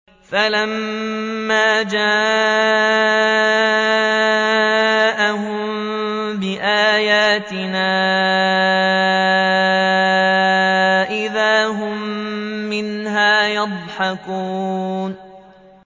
فَلَمَّا جَاءَهُم بِآيَاتِنَا إِذَا هُم مِّنْهَا يَضْحَكُونَ